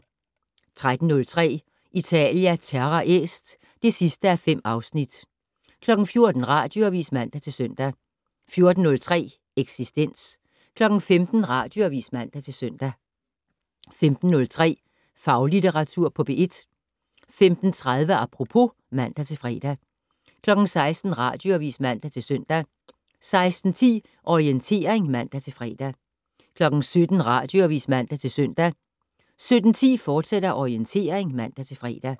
13:03: Italia Terra Est (5:5) 14:00: Radioavis (man-søn) 14:03: Eksistens 15:00: Radioavis (man-søn) 15:03: Faglitteratur på P1 15:30: Apropos (man-fre) 16:00: Radioavis (man-søn) 16:10: Orientering (man-fre) 17:00: Radioavis (man-søn) 17:10: Orientering, fortsat (man-fre)